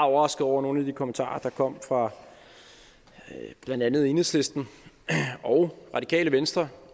overrasket over nogle af de kommentarer der kom fra blandt andet enhedslisten og radikale venstre